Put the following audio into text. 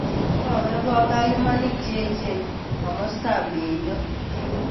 Ko ker kong� kayuumaniik cheechen komostab myieinto